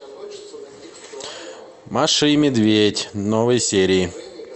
маша и медведь новые серии